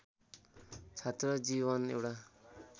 छात्र जीवन एउटा